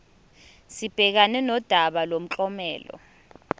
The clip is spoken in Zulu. sibhekane nodaba lomklomelo